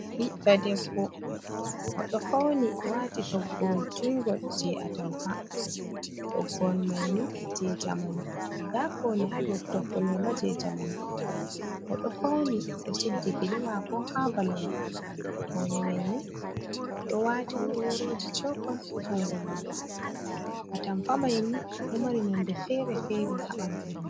Ɓiɗɗo debbo o ɗo fauni, waati toggowol jungol je atampa. Toggowol mai ni jei jamanu, nda paune haa dou toggowol mai ma jei jamanu. O ɗo fauni oɗo suddi gele mako ha balawal, paune mai ni o ɗo waati worworoji cewkon haa jungo mako. Atampa mai ni ɗo mari nonde fere-fere haa ɓandu mai.